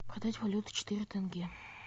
продать валюту четыре тенге